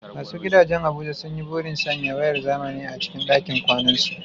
Masu gidajen Abuja sun yi burin sanya wayar zamani a cikin dakin kwanansu.